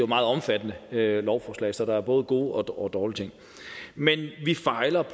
meget omfattende lovforslag så der er både gode og dårlige ting men vi fejler